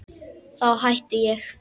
Þá hætti ég.